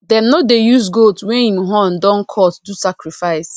dem no dey use goat wey hin horn don cut do sacrifice